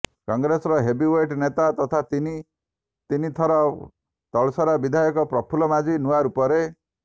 କଂଗ୍ରେସର ହେବିୱେଟ୍ ନେତା ତଥା ତିନି ତିନିଥରର ତଳସରାର ବିଧାୟକ ପ୍ରଫୁଲ ମାଝୀ ନୂଆ ରୂପରେ